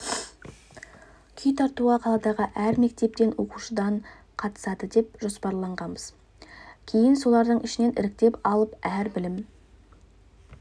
күй тартуға қаладағы әр мектептен оқушыдан қатысады деп жоспарлағанбыз кейін солардың ішінен іріктеп алып әр білім